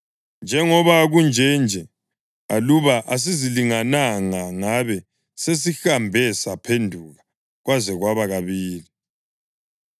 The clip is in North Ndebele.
Njengoba kunje nje, aluba asizilingananga ngabe sesihambe saphenduka kwaze kwaba kabili.”